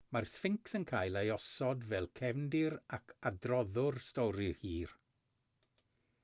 mae'r sffincs yn cael ei osod fel cefndir ac adroddwr stori hir